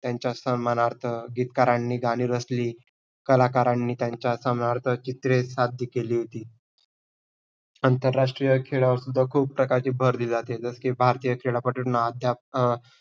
त्यांचा सन्मानार्थ गीतकारांनी गाणी रचली. कलाकारांनी त्यांचा सन्मानार्थ चित्रे साध्य केली होती. आंतरराष्ट्रीय खेळावरसुद्धा खूप प्रकारची भर दिली जाते. जसे की भारतीय खेळपट्टूना अध्या अं